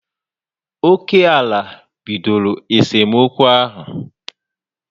Oké ala bidoro esemokwu ahụ